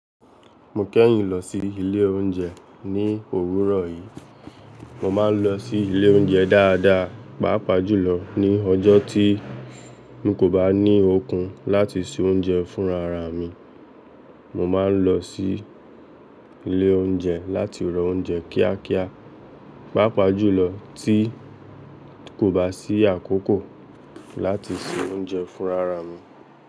Mo kẹ́yìn lọ sí ilé oúnjẹ ní òwúrọ̀ yìí. Mo máa ń lọ sí ilé oúnjẹ dáadáa, pàápàá jùlọ ní ọjọ́ tí un kò bá ní okun láti se oúnjẹ fúnra ra mi. Mo máa ń lọ sí ilé oúnjẹ láti ra oúnjẹ kíákíá, pàápàá jùlọ tí kò bá sí àkókò láti se oúnjẹ fúnra ra mi.